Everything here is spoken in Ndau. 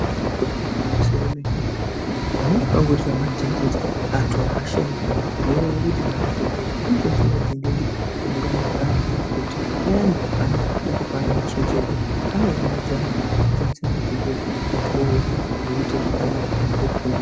Ibari gwinyiso remene-mene panenge pangorira madhindindi antu apashikwi ngenyaya yekuti madhokoteya anoshandisa madhindindi achida kunganidza vantu kuti payani pavanenge veida kupa vantu chenjedzo, anounganidza antu oridza madhindindi vantu vouya zvoite zvakanaka vantu vofundiswa.